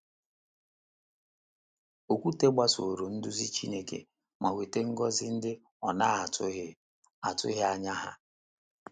Okwute gbasoro nduzi Chineke ma nweta ngọzi ndị ọ na - atụghị atụghị anya ha